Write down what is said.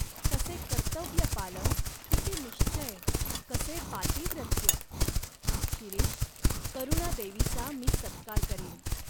कसे कर्तव्यपालन, किती निश्चय, कसे पातिव्रत्य ! शिरीष, करुणादेवीचा मी सत्कार करीन.